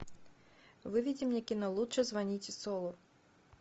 выведи мне кино лучше звоните солу